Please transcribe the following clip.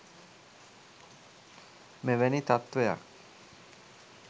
මෙවැනි තත්ත්වයක්